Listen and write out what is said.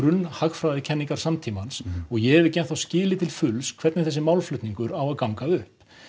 hagfræðikenningar samtímans og ég hef ekki enn skilið til fulls hvernig þessi málflutningur á að ganga upp